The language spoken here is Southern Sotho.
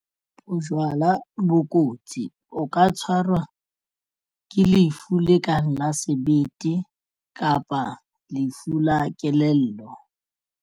Bojwala bo kotsi o ka tshwarwa ke lefu la kang la sebete kapa lefu la kelello.